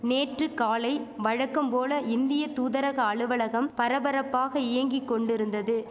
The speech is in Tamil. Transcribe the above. நேற்று காலை வழக்கம் போல இந்திய தூதரக அலுவலகம் பரபரப்பாக இயங்கி கொண்டுருந்தது